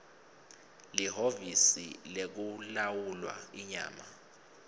lihhovisi lekulawulwa inyama